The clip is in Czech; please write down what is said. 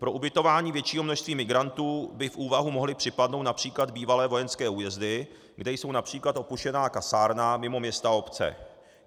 Pro ubytování většího množství migrantů by v úvahu mohly připadnout například bývalé vojenské újezdy, kde jsou například opuštěná kasárna mimo města, obce.